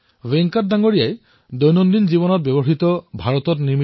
ভেংকটজীয়ে তেওঁ নিজে প্ৰতিদিনে ব্যৱহাৰ কৰা সামগ্ৰীসমূহৰ এখন তালিকা প্ৰস্তুত কৰিছে